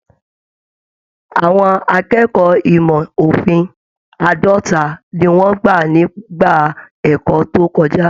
Àwọn akẹ́kọ̀ọ́ ìmọ òfin àádọta ní wọn gbà nígbà ẹ̀kọ́ tó kọjá.